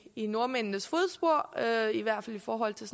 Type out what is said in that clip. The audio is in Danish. i nordmændenes fodspor i hvert fald i forhold til